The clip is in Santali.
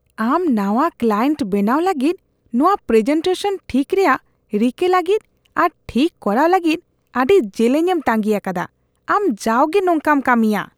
ᱟᱢ ᱱᱟᱣᱟ ᱠᱞᱟᱭᱮᱱᱴ ᱵᱮᱱᱟᱣ ᱞᱟᱹᱜᱤᱫ ᱱᱚᱶᱟ ᱯᱨᱮᱡᱮᱱᱴᱮᱥᱚᱱ ᱴᱷᱤᱠ ᱨᱮᱭᱟᱜ ᱨᱤᱠᱟᱹ ᱞᱟᱹᱜᱤᱫ ᱟᱨ ᱴᱷᱤᱠ ᱠᱚᱨᱟᱣ ᱞᱟᱹᱜᱤᱫ ᱟᱹᱰᱤ ᱡᱮᱞᱮᱧ ᱮᱢ ᱛᱟᱸᱜᱤ ᱟᱠᱟᱫᱟ ᱾ ᱟᱢ ᱡᱟᱣᱜᱮ ᱱᱚᱝᱠᱟᱢ ᱠᱟᱹᱢᱤᱭᱟ ᱾